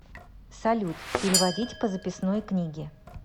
салют переводить по записной книге